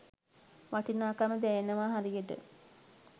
වටිනාකම දැනෙනව හරියට.